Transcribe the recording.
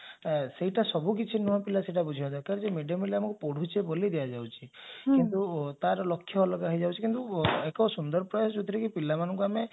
ସେଇଟା ସବୁକିଛି ନୁହଁ ପିଲା ସେଇଟା ବୁଝିବା ଦରକାର ଯେ mid day meal ଆମକୁ ପଢୁଚେ ବୋଲି ଦିଆଯାଉଛି କିନ୍ତୁ ତାର ଲକ୍ଷ୍ୟ ଅଲଗା ହେଇଯାଉଛି କିନ୍ତୁ ଏକ ସୁନ୍ଦର ପ୍ରାୟ ଯାଉଥିରେ କି ପିଲାମାନଙ୍କୁ ଆମେ